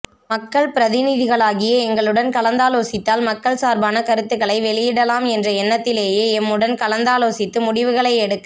மக்கள் பிரதிநிதிகளாகிய எங்களுடன் கலந்தாலோசித்தால் மக்கள் சார்பான கருத்துக்களை வெளியிடலாம் என்ற எண்ணத்திலேயே எம்முடன் கலந்தாலோசித்து முடிவுகளை எடுக்க